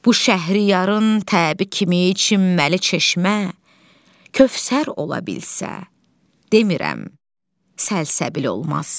Bu şəhriyarın təbi kimi içilməli çeşmə kövsər ola bilsə, demirəm, səlsəbil olmaz.